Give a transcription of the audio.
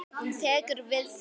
Hún tekur við því.